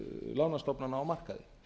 lánastofnana á markaði